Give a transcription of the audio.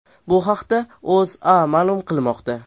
Bu haqda O‘zA ma’lum qilmoqda .